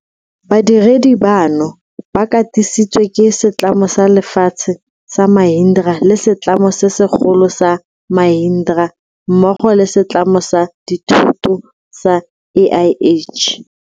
Badiredi bano ba katisi tswe ke setlamo sa lefatshe sa Mahindra le setlamo se segolo sa Mahindra mmogo le setlamo sa dithoto sa AIH.